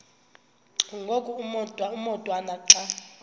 ngoku umotwana xa